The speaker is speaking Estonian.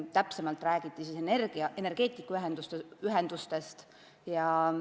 Täpsemalt räägiti energeetikaühendustest.